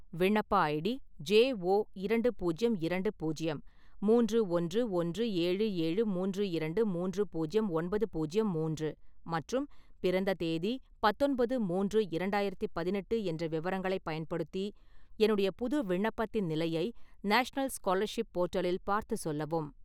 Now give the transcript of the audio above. விண்ணப்ப ID J O இரண்டு பூஜ்யம் இரண்டு பூஜ்யம் மூன்று ஒன்று ஒன்று ஏழு ஏழு மூன்று இரண்டு மூன்று பூஜ்யம் ஒன்பது பூஜ்யம் மூன்று மற்றும் பிறந்த தேதி பத்தொன்பது-மூன்று - இரண்டாயிரத்தி பதினெட்டு என்ற விவரங்களைப் பயன்படுத்தி என்னுடைய புது விண்ணப்பத்தின் நிலையை நேஷனல் ஸ்காலர்ஷிப் போர்ட்டலில் பார்த்துச் சொல்லவும்